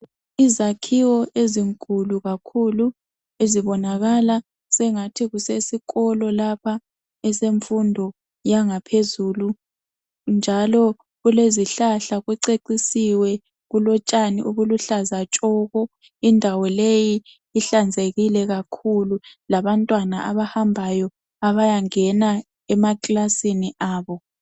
Izakhiwo ezinkulu kakhulu ezibonakala sengathi kusesikolo lapha esemfundo yangaphezulu njalo kulezihlahla kucecisiwe kulotshani obuluhlaza tshoko. Indawo leyi ihlanzekile kakhulu labantwana abahambayo abayangena emakilasini abo.